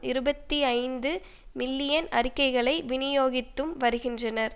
இருபத்தி ஐந்து மில்லியன் அறிக்கைகளை விநியோகித்தும் வருகின்றனர்